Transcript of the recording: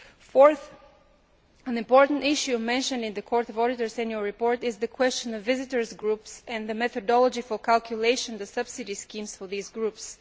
Fourth, an important issue mentioned in the Court of Auditors' annual report is the question of visitors' groups and the methodology for calculation of the subsidy schemes for these groups.